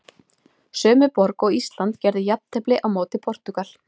Sömu borg og Ísland gerði jafntefli á móti Portúgal.